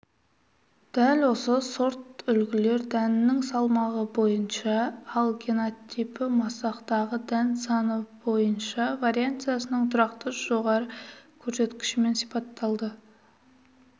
дәл осы сортүлгілер дәннің салмағы бойынша ал генотипі масақтағы дән саны бойынша вариансасының тұрақты жоғары көрсеткішімен сипатталды